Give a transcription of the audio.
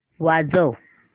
वाजव